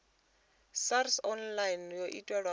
sars online yo itelwa u